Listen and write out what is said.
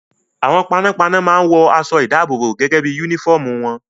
Àwọn panápaná máa ń wọ aṣọ-ìdáàbòbò gẹ́gẹ́ bí i únífọ́ọ́mù wọn.